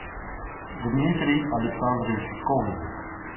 дмитрий александрович ковзик